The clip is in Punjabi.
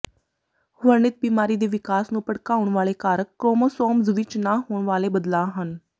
ਵਰਣਿਤ ਬਿਮਾਰੀ ਦੇ ਵਿਕਾਸ ਨੂੰ ਭੜਕਾਉਣ ਵਾਲੇ ਕਾਰਕ ਕ੍ਰੋਮੋਸੋਮਜ਼ ਵਿਚ ਨਾ ਹੋਣ ਵਾਲੇ ਬਦਲਾਅ ਹਨ